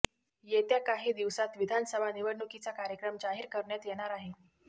येत्या काही दिवसांत विधानसभा निवडणुकीचा कार्यक्रम जाहीर करण्यात येणार आहे